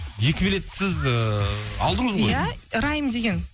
екі билет сіз ыыы алдыңыз ғой ия райым деген